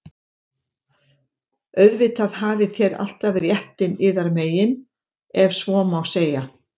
Auðvitað hafið þér alltaf réttinn yðar megin,- ef svo má segja.